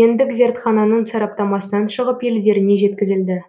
гендік зертхананың сараптамасынан шығып елдеріне жеткізілді